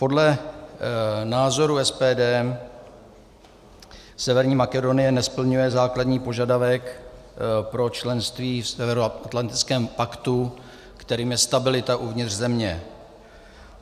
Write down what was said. Podle názoru SPD Severní Makedonie nesplňuje základní požadavek pro členství v Severoatlantickém paktu, kterým je stabilita uvnitř země.